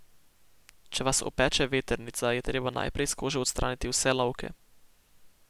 Če vas opeče vetrnica, je treba najprej s kože odstraniti vse lovke.